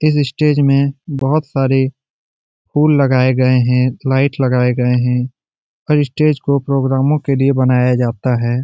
इस स्टेज में बोहोत सारे फूल लगाए गए हैं लाइट लगाए गए हैं और इस स्टेज को प्रोग्रामों के लिए बनाया जाता है।